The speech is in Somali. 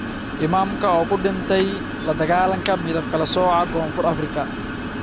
Imaamka oo ku dhintay la dagaalanka midab kala sooca ee Koonfur Afrika